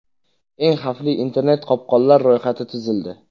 Eng xavfli internet-qopqonlar ro‘yxati tuzildi.